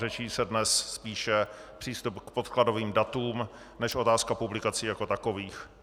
Řeší se dnes spíše přístup k podkladovým datům než otázka publikací jako takových.